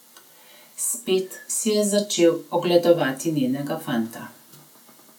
Spet si je začel ogledovati njenega fanta.